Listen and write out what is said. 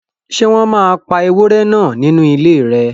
Ṣé wọ́n máa pa ewúrẹ́ náà nínú ilé rẹ